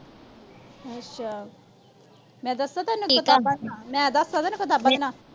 ਅੱਛਾ। ਮੈਂ ਦੱਸਾ ਤੈਨੂੰ ਕਿਤਾਬਾਂ ਦੇ ਨਾਂ। ਮੈਂ ਦੱਸਾ ਤੈਨੂੰ ਕਿਤਾਬਾਂ ਦੇ ਨਾਂ।